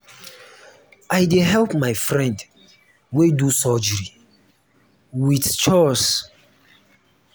i dey help my friend wey do surgery wit chores.